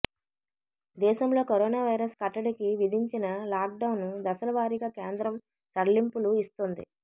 దేశంలో corona virus కట్టడికి విధించిన లాక్డౌన్ దశలవారిగా కేంద్రం సడలింపులు ఇస్తోంది